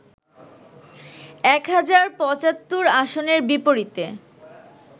এক হাজার ৭৫ আসনের বিপরীতে